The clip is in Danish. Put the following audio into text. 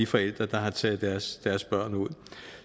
forældre der har taget deres deres børn ud